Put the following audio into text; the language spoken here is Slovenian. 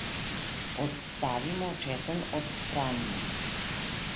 Odstavimo, česen odstranimo.